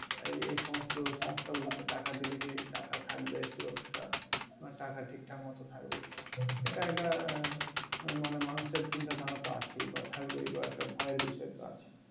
এই সমস্ত সংস্থা গুলোতে টাকা দিলে কি টাকা থাকবে সুরক্ষা? বা টাকা ঠিক-ঠাকমতো থাকবে কিনা? এটা একটা মানে মানুষের চিন্তাধারা তো আছে বা থাকবেই একটা ভয়ের বিসয় তো আছে।